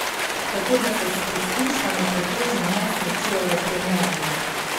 Tako da se s preskušnjami pretežno ne srečujejo premierno.